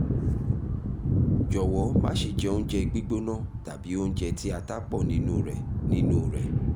jọ̀wọ́ má ṣe jẹ oúnjẹ gbígbóná tàbí oúnjẹ tí ata pọ̀ nínú rẹ nínú rẹ